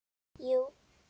Jú